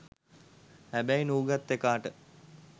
හැබැයි නූගත් එකාට